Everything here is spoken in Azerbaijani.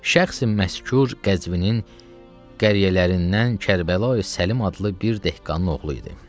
Şəxsi məskur Qəzvinin qəryələrindən Kərbəlayi Səlim adlı bir dəhqanın oğlu idi.